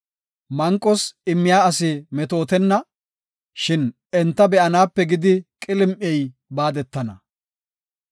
Manqos immiya asi metootenna; shin enta be7anaape gidi qilim7ey baadetana.